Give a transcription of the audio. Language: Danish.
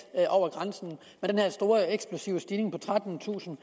over grænsen med den her store eksplosive stigning på trettentusinde